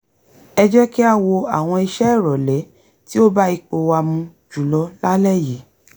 ẹ jẹ́ kí á wo àwọn ìṣe ìrọ̀lẹ́ tí ó bá ipò wa mu jùlọ lálẹ́ yìí